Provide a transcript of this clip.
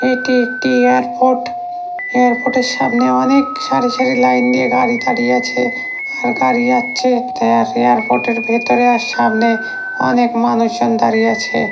এটি একটি airport airport এর সামনে অনেক সারি সারি লাইন দিয়ে গাড়ি দাঁড়িয়ে আছে আর গাড়ি যাচ্ছে এয়ারপোর্ট এর ভেতরে আর সামনে অনেক মানুষজন দাঁড়িয়ে আছে ।